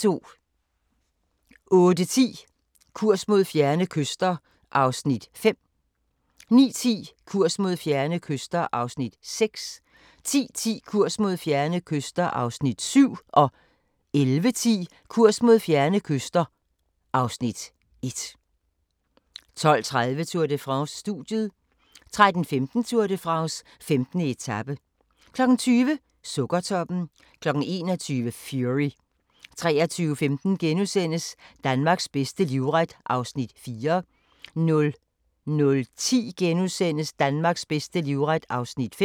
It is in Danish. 08:10: Kurs mod fjerne kyster (Afs. 5) 09:10: Kurs mod fjerne kyster (Afs. 6) 10:10: Kurs mod fjerne kyster (Afs. 7) 11:10: Kurs mod fjerne kyster (Afs. 1) 12:30: Tour de France: Studiet 13:15: Tour de France: 15. etape 20:00: Sukkertoppen 21:00: Fury 23:15: Danmarks bedste livret (4:6)* 00:10: Danmarks bedste livret (5:6)*